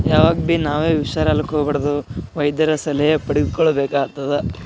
ಹಳೇ ಖಿದಿಕ್ಕಿಗಳ್ ಇದಾವ ಬ್ರೌನ್ ಕಲರ್ ಆಗ.